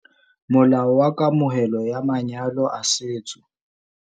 Molao wa Kamohelo ya Manyalo a Setso